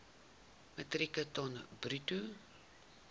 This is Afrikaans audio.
metrieke ton bruto